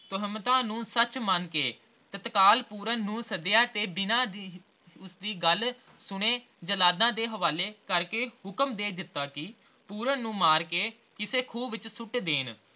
ਤੋਹਮਤਾਂ ਨੂੰ ਸੱਚ ਮੰਨਕੇ ਤਤਕਾਲ ਪੂਰਨ ਨੂੰ ਸੱਦਿਆ ਅਤੇ ਬਿਨਾ ਉਸਦੀ ਗੱਲ ਸੁਣੇ ਜਲਾਦਾਂ ਦੇ ਹਵਾਲੇ ਕਰਕੇ ਹੁਕਮ ਦੇ ਦਿੱਤਾ ਕਿ ਪੂਰਨ ਨੂੰ ਮਾਰ ਕੇ ਕਿਸੇ ਖੂਹ ਵਿਚ ਸੁੱਟ ਦੇਣ